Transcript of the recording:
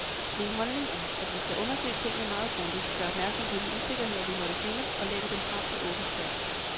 Min holdning er, at vi skal undersøge tingene meget grundigt, gøre opmærksom på de usikkerheder, vi måtte finde, og lægge dem frem til åben debat.